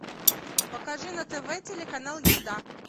покажи на тв телеканал еда